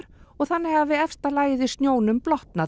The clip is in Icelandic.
og þannig hafi efst lagið í snjónum